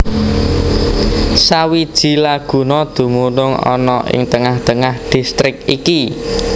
Sawiji laguna dumunung ana ing tengah tengah distrik iki